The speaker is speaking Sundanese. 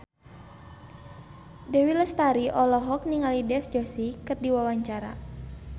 Dewi Lestari olohok ningali Dev Joshi keur diwawancara